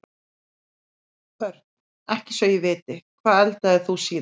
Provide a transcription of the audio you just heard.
Börn: ekki svo ég viti Hvað eldaðir þú síðast?